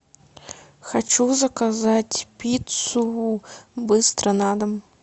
хочу заказать пиццу быстро на дом